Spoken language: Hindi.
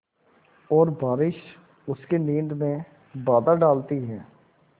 और बारिश उसकी नींद में बाधा डालती है